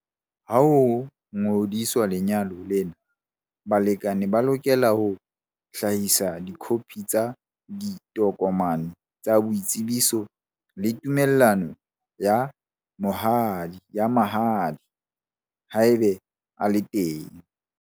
Ha ho ngodiswa lenyalo lena, balekane ba lokela ho hlahisa dikhophi tsa ditokomane tsa boitsebiso le tumellano ya mahadi, haebe a le teng.